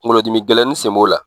Kungolo dimi gɛlɛnin sen b'o la.